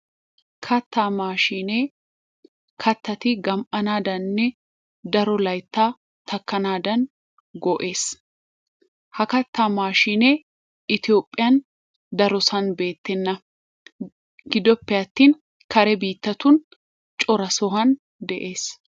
Kattaa mashinne kattatti gama'anadanni daro layttaa takanadan go'essi.ha kattaa mashinne ethiyophiyan daro sohuwan betennaa, gidoppee attin karee bittan choraa sohuwan de'ess.